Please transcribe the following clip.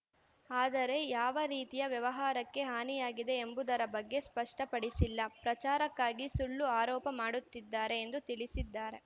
ಆದರೆ ಯಾವ ರೀತಿಯ ವ್ಯವಹಾರಕ್ಕೆ ಹಾನಿಯಾಗಿದೆ ಎಂಬುದರ ಬಗ್ಗೆ ಸ್ಪಷ್ಟಪಡಿಸಿಲ್ಲ ಪ್ರಚಾರಕ್ಕಾಗಿ ಸುಳ್ಳು ಆರೋಪ ಮಾಡುತ್ತಿದ್ದಾರೆ ಎಂದು ತಿಳಿಸಿದ್ದಾರೆ